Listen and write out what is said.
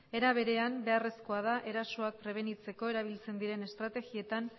era berean beharrezkoa da erasoak prebenitzeko erabiltzen diren estrategietan